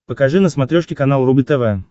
покажи на смотрешке канал рубль тв